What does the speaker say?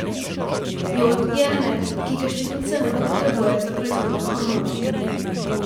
Jod je element, ki ga ščitnica nujno potrebuje za proizvodnjo hormonov.